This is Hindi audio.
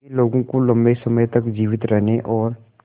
यह लोगों को लंबे समय तक जीवित रहने और